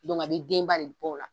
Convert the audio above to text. a be den ba de bɔ o la.